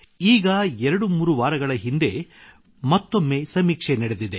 ಈಗ 23 ವಾರಗಳ ಹಿಂದೆ ಮತ್ತೊಮ್ಮೆ ಸಮೀಕ್ಷೆ ನಡೆದಿದೆ